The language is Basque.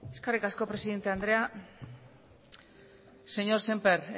eskerrik asko presidente andrea señor sémper